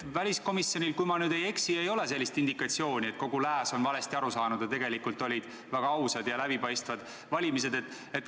Väliskomisjonil, kui ma ei eksi, ei ole sellist indikatsiooni, et kogu lääs on kõigest valesti aru saanud, et tegelikult olid väga ausad ja läbipaistvad valimised.